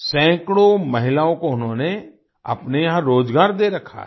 सैकड़ों महिलाओं को उन्होंने अपने यहाँ रोजगार दे रखा है